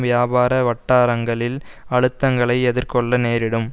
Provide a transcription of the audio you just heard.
வியாபார வட்டாரங்களிள் அழுத்தங்களை எதிர்கொள்ள நேரிடும்